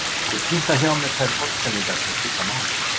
Ég punkta hjá mér þær orðsendingar sem máli skipta